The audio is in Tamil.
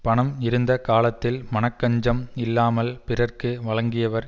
பணம் இருந்த காலத்தில் மனக்கஞ்சம் இல்லாமல் பிறர்க்கு வழங்கியவர்